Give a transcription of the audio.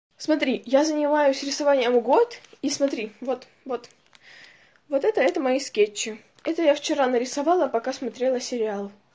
смотри я занимаюсь рисованием год и смотри вот вот вот это это мои скетчи это я вчера нарисовала пока смотрела сериал